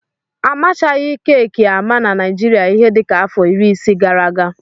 Amachaghị keeki ámá na Naịjirịa ihe dịka afọ iri isii gara aga.